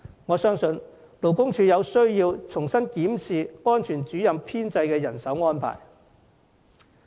我相信勞工處需要重新檢視安全主任的人手編制。